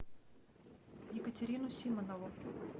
екатерину симонову